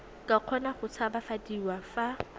ka kgona go tshabafadiwa fa